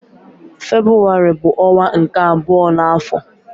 Febrụwarị bu onwa nke abuo na afo